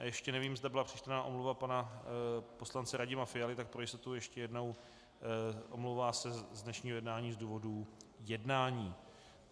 A ještě nevím, zda byla přečtena omluva pana poslance Radima Fialy, tak pro jistotu ještě jednou, omlouvá se z dnešního jednání z důvodů jednání.